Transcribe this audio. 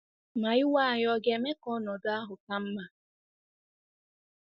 Ma iwe anyị ọ̀ ga-eme ka ọnọdụ ahụ ka mma?